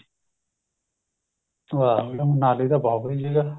ਵਾ ਜੀ ਵਾ ਮਨਾਲੀ ਤਾਂ ਬਹੁਤ ਵਧੀਆ ਜਗ੍ਹਾ